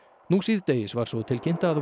nú síðdegis var svo tilkynnt að